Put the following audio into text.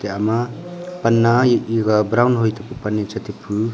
ama pan na iga brown hoitapu pan ne chi tipu.